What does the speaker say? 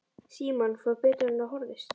Símon: Fór betur en á horfðist?